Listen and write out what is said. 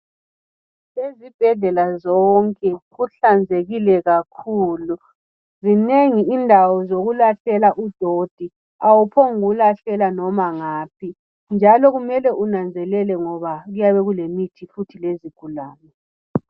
Ezibhedlela zonke kuhlanzekile kakhulu zinengi indawo zokulahlela udoti awuphongukulahlela noma ngaphi njalo kumele unanzelele ngoba kuyabe kulemithi futhi lezigulane.